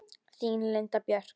Þín Linda Björk.